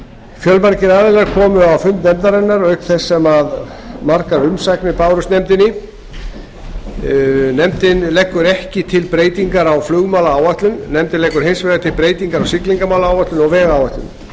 fjölmargir aðilar komu á fund nefndarinnar auk þess sem margar umsagnir bárust nefndinni nefndin leggur ekki til breytingar á flugmálaáætlun nefndin leggur hins vegar til breytingar á siglingamálaáætlun og vegáætlun